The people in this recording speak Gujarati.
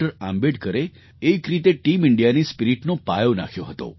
આંબેડકરે એક રીતે ટીમ ઇન્ડિયાની સ્પિરિટનો પાયો નાખ્યો હતો